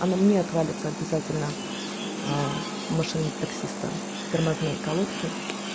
а нам не отвалится обязательно машина таксиста тормозные колодки